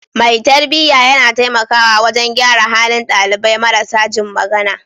Mai tarbiyya yana taimakawa wajen gyara halin dalibai marasa jin magana.